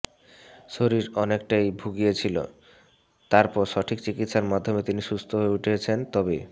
শরীর অনেকটাই ভুগিয়েছিল তারপর সঠিক চিকিৎসার মাধ্যমে তিনি সুস্থ হয়ে উঠেছেন তবে